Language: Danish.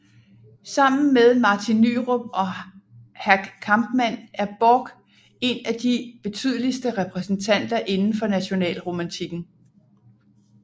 Sammen med Martin Nyrop og Hack Kampmann er Borch en af de betydeligste repræsentanter inden for nationalromantikken